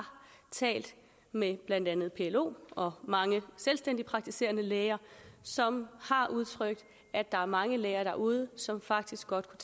talt med blandt andet plo og mange selvstændige praktiserende læger som har udtrykt at der er mange læger derude som faktisk godt